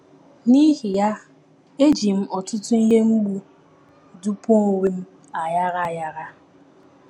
N’ihi ya, eji m ọtụtụ ihe mgbu dụpuo onwe m aghara aghara.